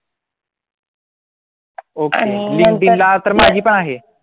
okay linkedin ला तर माझी पण आहे